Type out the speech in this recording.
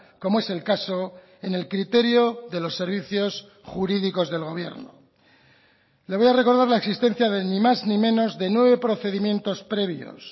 como es el caso en el criterio de los servicios jurídicos del gobierno le voy a recordar la existencia de ni más ni menos de nueve procedimientos previos